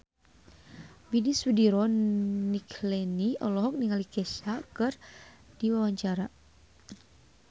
Widy Soediro Nichlany olohok ningali Kesha keur diwawancara